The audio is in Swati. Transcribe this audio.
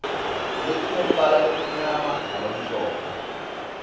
letinembala lomnyama nalomhlophe